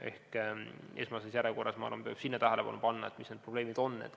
Ehk esmases järjekorras peab minu arvates sinna tähelepanu pöörama ja tegema selgeks, mis need probleemid on.